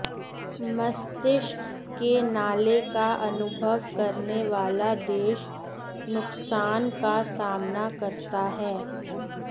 मस्तिष्क के नाले का अनुभव करने वाला देश नुकसान का सामना करता है